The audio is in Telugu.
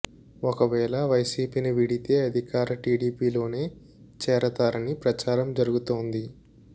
ఒక వేళ వైసీపీని వీడితే అధికార టీడీపీలోనే చేరతారని ప్రచారం జరుగుతోంది